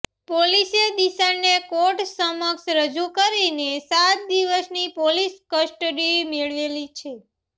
પોલીસે દિશાને કોર્ટ સમક્ષ રજૂ કરીને સાત દિવસની પોલીસ કસ્ટડી મેળવેલી છે